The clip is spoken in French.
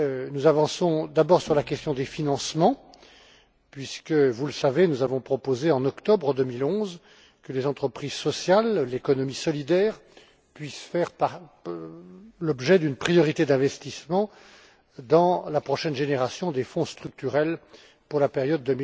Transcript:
Nous avançons d'abord sur la question des financements, puisque vous le savez nous avons proposé, en octobre 2011, que les entreprises sociales, l'économie solidaire, puissent faire l'objet d'une priorité d'investissement dans la prochaine génération des fonds structurels pour la période